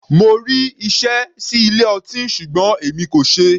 Mo rí iṣẹ́ sí ilé ọtí ṣùgbọ́n èmi kò ṣeé.